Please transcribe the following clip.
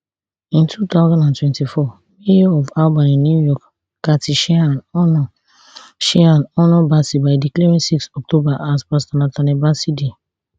in two thousand and twenty-four mayor of albany new york kathy sheehan honour sheehan honour bassey by declaring six october as pastor nathaniel bassey day